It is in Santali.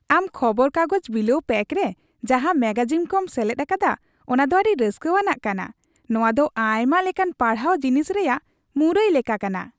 ᱟᱢ ᱠᱷᱚᱵᱚᱨ ᱠᱟᱜᱚᱡ ᱵᱤᱞᱟᱹᱣ ᱯᱮᱠ ᱨᱮ ᱡᱟᱦᱟᱸ ᱢᱮᱜᱟᱡᱤᱱ ᱠᱚᱢ ᱥᱮᱞᱮᱫ ᱟᱠᱟᱫᱟ ᱚᱱᱟᱫᱚ ᱟᱹᱰᱤ ᱨᱟᱹᱥᱠᱟᱹᱣᱟᱱ ᱠᱟᱱᱟ ᱾ ᱱᱚᱣᱟᱫᱚ ᱟᱭᱢᱟ ᱞᱮᱠᱟᱱ ᱯᱟᱲᱦᱟᱣ ᱡᱤᱱᱤᱥ ᱨᱮᱭᱟᱜ ᱢᱩᱨᱟᱹᱭ ᱞᱮᱠᱟ ᱠᱟᱱᱟ ᱾